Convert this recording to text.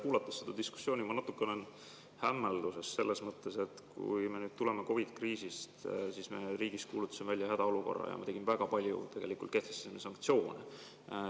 Kuulates seda diskussiooni, ma olen natuke hämmelduses selles mõttes, et me tuleme COVID‑i kriisist, kui me kuulutasime riigis välja hädaolukorra ja tegime väga palju, tegelikult kehtestasime sanktsioone.